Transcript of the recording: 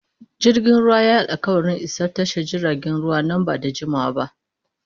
Jirgin ruwan ya yi alƙawarin isa tashar jiragen ruwa nan ba da jimawa ba.